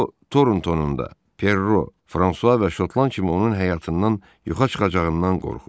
O, Torontonunda Perro, Fransua və Şotland kimi onun həyatından yoxa çıxacağından qorxurdu.